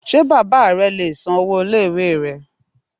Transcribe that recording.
Ṣé bàbá re le è san owó ilé ìwé rẹ